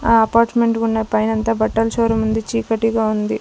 ఆ అపార్ట్మెంట్ ఉన్న పైనంతా బట్టల షోరూమ్ ఉంది చీకటిగా ఉంది.